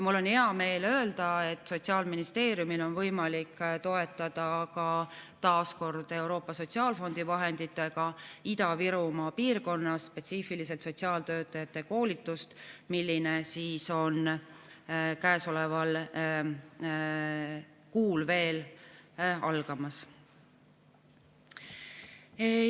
Mul on hea meel öelda, et Sotsiaalministeeriumil on võimalik toetada taas kord Euroopa Sotsiaalfondi vahenditega Ida-Virumaa piirkonnas spetsiifiliselt sotsiaaltöötajate koolitust, mis on käesoleval kuul algamas.